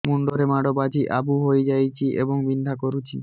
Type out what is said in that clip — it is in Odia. ମୁଣ୍ଡ ରେ ମାଡ ବାଜି ଆବୁ ହଇଯାଇଛି ଏବଂ ବିନ୍ଧା କରୁଛି